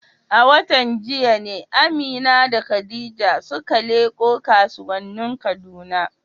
A watan jiya ne Amina da Khadija suka leƙo kasuwannin Kaduna.